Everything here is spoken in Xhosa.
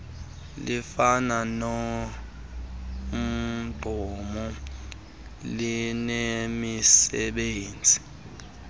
lifana nomgqomo linemisebenzi